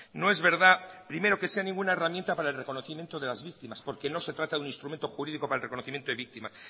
no es verdad primero que sea ninguna herramienta para el reconocimiento de las víctimas porque no se trata de un instrumento jurídico para el reconocimiento de víctimas